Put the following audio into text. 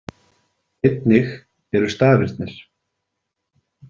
Einnig eru stafirnir.